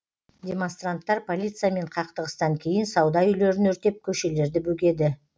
демонстранттар полициямен қақтығыстан кейін сауда үйлерін өртеп көшелерді бөгеді